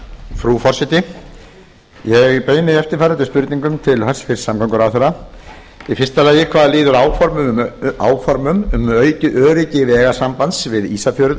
frú forseti ég beini eftirfarandi spurningum til hæstvirts samgönguráðherra fyrsta hvað líður áformum um aukið öryggi vegasambands við ísafjörð